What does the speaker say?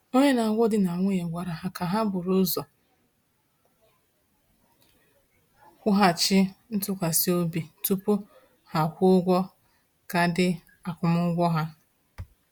Onye na-agwọ di na nwunye gwara ha ka ha buru ụzọ wughachi ntụkwasị obi tupu ha kwụọ ụgwọ kaadị akwụmụgwọ ha.